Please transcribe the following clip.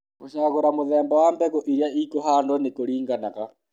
gũcagũra mũthemba wa mbegu ĩrĩa ĩkũhandũo nĩ kũriganaga